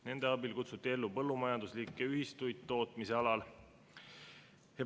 Nende abil kutsuti ellu ka põllumajanduslikke ühistuid tootmise alal.